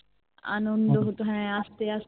আনন্দ হতো হ্যাঁ আস্তে আস্তে